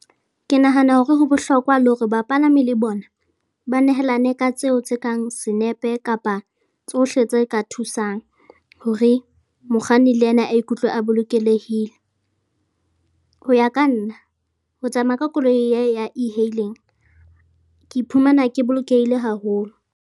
Ke nahana hore ho bohlokwa le hore bapalami le bona ba nehelane ka tseo tse kang senepe kapa tsohle tse ka thusang hore mokganni le yena a ikutlwe a bolokelehile. Ho ya ka nna, ho tsamaya ka koloi e ya e-hailing ke iphumana ke bolokehile haholo.